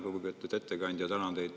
Lugupeetud ettekandja!